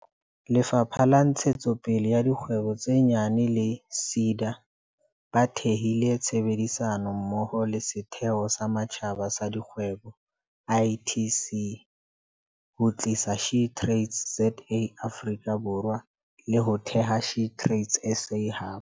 Lefapha la Ntshetsopele ya Dikgwebo tse Nyane le SEDA ba thehile tshebedisano mmoho le Setheo sa Matjhaba sa Dikgwebo ITC, ho tlisa SheTradesZA Afrika Borwa, le ho theha SheTradesZA Hub.